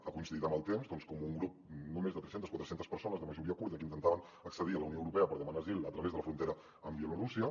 ha coincidit en el temps que un grup de no més de tres centes quatre centes persones de majoria kurda que intentaven accedir a la unió europea per demanar asil a través de la frontera amb bielorússia